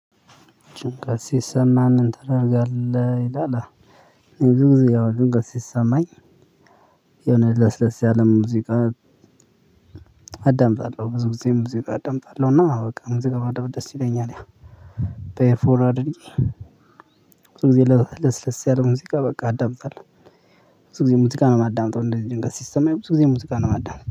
ጭንቀት ሲሰማን ምን ተደረጋለህ? ይላል ብዙ ጊዜ ያው ጭንቀት ሲሰማኝ ለስ ለስ ያለ ሙዚቃ አዳምጣለሁ። ብዙ ጊዜ ሙዚቃ አዳምጣለሁ እና በቃ ሙዚቃ መደመጥ ደስ ይለኛል። ያ በኤርፎርን አድርጌ ብዙ ጊዜ ለስለስ ያለ ሙዚቃ በቃ አዳምጣለሁ። ብዙ ጊዜ ሙዚቃ ነው የማዳምጠው። እንደዚህ ጭንቀት ሲሰማኝ ብዙ ጊዜ ሙዚቃ ነው የማዳምጠው።